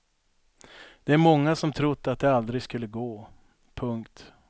Det är många som trott att det aldrig skulle gå. punkt